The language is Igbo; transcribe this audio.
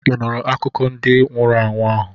Ị nụụrụ akụkọ ndị nwụrụ anwụ ahụ?